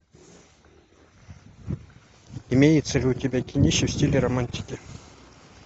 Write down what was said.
имеется ли у тебя кинище в стиле романтики